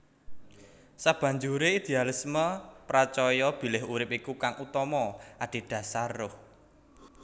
Sabanjure idealisme pracaya bilih urip iku kang utama adhedasar ruh